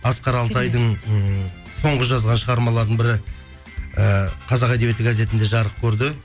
асқар алтайдың ммм соңғы жазған шығармаларының бірі ііі қазақ әдебиеті газетінде жарық көрді